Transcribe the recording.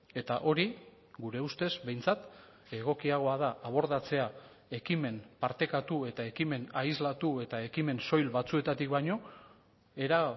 eta hori gure ustez behintzat egokiagoa da abordatzea ekimen partekatu eta ekimen aislatu eta ekimen soil batzuetatik baino era